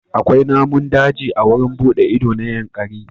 Akwai namun daji a wurin buɗe ido na Yankari.